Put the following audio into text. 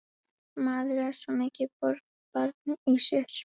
Maður er svo mikið borgarbarn í sér.